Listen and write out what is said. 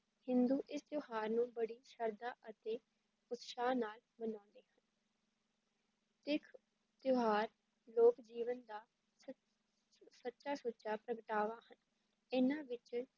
ਹਿੰਦੂ ਇਸ ਤਿਉਹਾਰ ਨੂੰ ਬੜੀ ਸ਼ਰਧਾ ਅਤੇ ਉਤਸ਼ਾਹ ਨਾਲ ਮਨਾਉਂਦੇ ਹਨ ਤਿਥ ਤਿਉਹਾਰ ਲੋਕ ਜੀਵਨ ਦਾ ਸੱਚ~ ਸੱਚਾ ਸੁੱਚਾ ਪ੍ਰਗਟਾਵਾ ਹਨ, ਇਨ੍ਹਾਂ ਵਿੱਚ